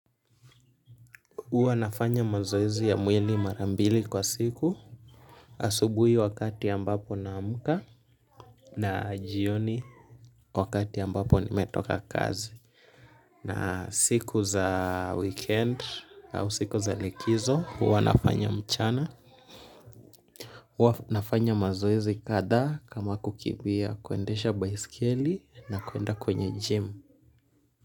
Huwa nafanya mazoezi ya mwili mara mbili kwa siku, asubui wakati ambapo naamka na jioni wakati ambapo nimetoka kazi. Na siku za weekendi au siku za likizo, huwa nafanya mchana. Huwa nafanya mazoezi kadhaa kama kukimbia kuendesha baiskeli na kuenda kwenye jimu.